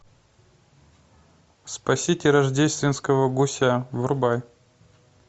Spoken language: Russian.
спасите рождественского гуся врубай